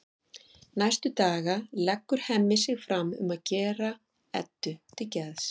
Næstu daga leggur Hemmi sig fram um að gera Eddu til geðs.